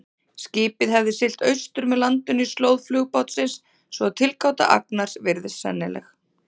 Skipið hafði siglt austur með landinu í slóð flugbátsins, svo að tilgáta Agnars virðist sennileg.